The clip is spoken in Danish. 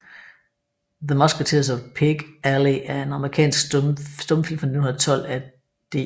The Musketeers of Pig Alley er en amerikansk stumfilm fra 1912 af D